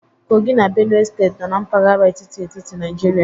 Kogi na Benue Steeti nọ na mpaghara etiti etiti Nigeria